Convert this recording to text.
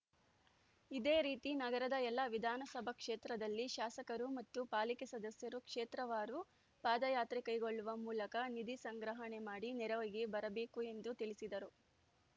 ಇದೇ ರೀತಿ ನಗರದ ಎಲ್ಲ ವಿಧಾನಸಭಾ ಕ್ಷೇತ್ರದಲ್ಲಿ ಶಾಸಕರು ಮತ್ತು ಪಾಲಿಕೆ ಸದಸ್ಯರು ಕ್ಷೇತ್ರವಾರು ಪಾದಯಾತ್ರೆ ಕೈಗೊಳ್ಳುವ ಮೂಲಕ ನಿಧಿ ಸಂಗ್ರಹಣೆ ಮಾಡಿ ನೆರವಿಗೆ ಬರಬೇಕು ಎಂದು ತಿಳಿಸಿದರು